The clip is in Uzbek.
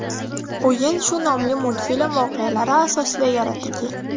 O‘yin shu nomli multfilm voqealari asosida yaratilgan.